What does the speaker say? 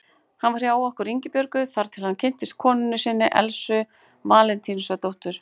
Hann var hjá okkur Ingibjörgu þar til hann kynntist konu sinni, Elsu Valentínusdóttur.